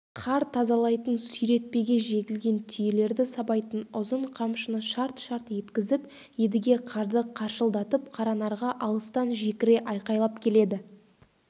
қар тазалайтын сүйретпеге жегілген түйелерді сабайтын ұзын қамшыны шарт-шарт еткізіп едіге қарды қаршылдатып қаранарға алыстан жекіре айқайлап келеді